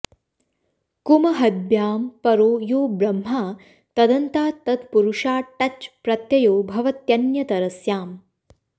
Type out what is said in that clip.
कुमहद्भ्यां परो यो ब्रह्मा तदन्तात् तत्पुरुषाट् टच् प्रत्ययो भवत्यन्यतरस्याम्